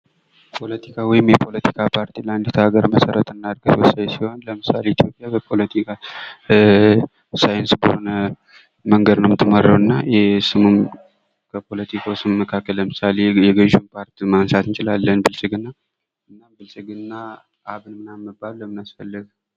ፖለቲካ ወይም የፖለቲካ ፓርቲ ለአንዲት ሀገር መሰረት እና እድገት ሲሆን ለምሳሌ በኢትዮጵያ በፖለቲካ ሳይንስ ሆነ በሆን መንገድ ነው እና ይሄ ስምም ከፖለቲካው ስም መካከል ገዥውን ፓርቲ ማንሳት እንችላለን ብልጽግና፣ አብን፣ ምናምን መባል ለምን አስፈለገ?